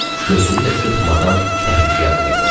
Gözünü də qırpmadan təhlükəyə atılırdı.